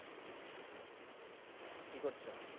কি করছো?